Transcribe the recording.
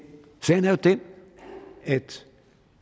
sagen er jo den at